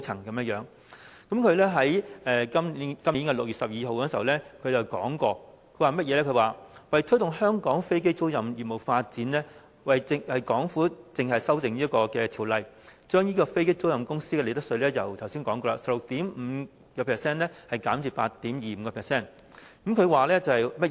他在今年6月12日時表示，為推動香港飛機租賃業務發展，港府計劃修例，將飛機租賃公司的利得稅稅率——我剛才已經提到——由 16.5% 降至 8.25%。